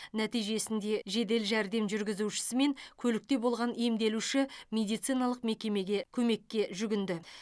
нәтижесінде жедел жәрдем жүргізушісі мен көлікте болған емделуші медициналық мекемеге көмекке жүгінді